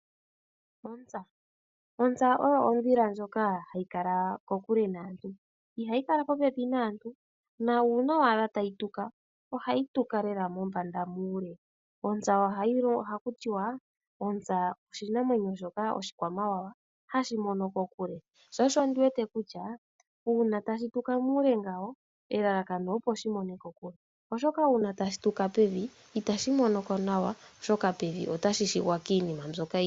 Ontsa! Ontsa oyo ondhila ndjoka hayi kala kokule naantu, ihayi kala popepi naantu na uuna owala tayi tuka, ohayi tuka lela mombanda muule. Ontsa ohaku ti wa: ontsa oshinamwenyo shoka oshikwamawawa hashi mono kokule, sho osho ndiwete kutya uuna tashi tuka muule ngawo elalakano opo shi mone kokule, oshoka uuna tashi tuka pevi otashi shiwa kiinima mbyoka...